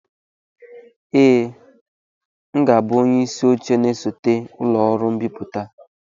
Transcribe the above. ee, m ga-abụ onye isi oche na-esote ụlọ ọrụ mbipụta a